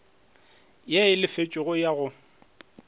ye e lefetšwego ya go